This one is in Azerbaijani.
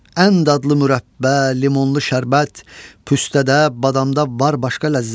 Ən dadlı mürəbbə, limonlu şərbət, püstdədə, badamda var başqa ləzzət.